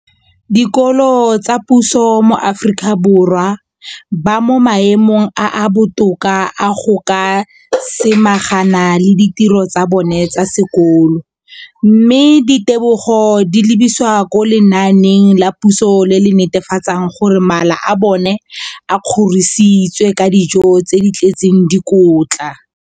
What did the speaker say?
Dikolo tsa puso mo Aforika Borwa ba mo maemong a a botoka a go ka samagana le ditiro tsa bona tsa sekolo, mme ditebogo di lebisiwa kwa lenaaneng la puso le le netefatsang gore mala a bona a kgorisitswe ka dijo tse di tletseng dikotla.